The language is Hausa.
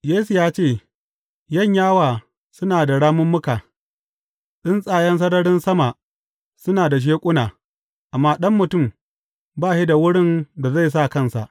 Yesu ya ce, Yanyawa suna da ramummuka, tsuntsayen sararin sama suna da sheƙuna, amma Ɗan Mutum ba shi da wurin da zai sa kansa.